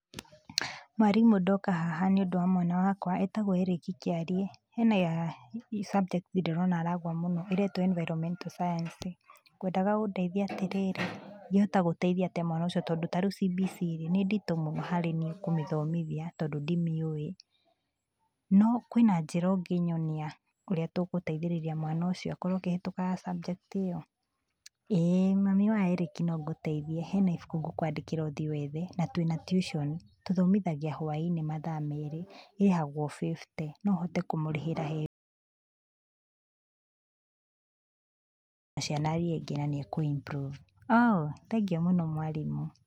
Mwarimũ ndoka haha nĩ tondũ wa mwana wakwa, etagwo Erick Kiarie, hena subject ndĩrona nĩ aragwa mũno ĩtagwo Environmental Science, ngwendaga ũndeithie atĩrĩrĩ, ingĩhota gũteithia atĩa mwana ũcio tondũ ta reu CBC nĩ nditũ mũno harĩ niĩ kũmũthomithia tondũ ndĩmĩũĩ. No kwĩna njĩra ũngĩnyonia ũrĩa tũngũteithĩreria mwana ũcio akorwo akĩhĩtũka subject ĩyo? Mwarimũ: ''ĩĩ mami wa Erick nongũteithie, hena ibũkũ ngũkwandĩkĩra ũthiĩ wethe, na twĩna tuition, tũthomithagia hwaĩ-inĩ mathaa meerĩ, ĩrĩhagwo bebite , no ũhote kũmũrĩhĩra athome na ciana iria ingĩ na nĩ ekũ- improve .'' oo thengiũ mũno mwarimũ.